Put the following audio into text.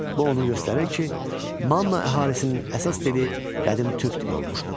Bu onu göstərir ki, Manna əhalisinin əsas dili qədim türk dili olmuşdu.